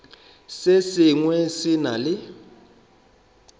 se sengwe se na le